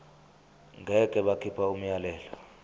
ngeke bakhipha umyalelo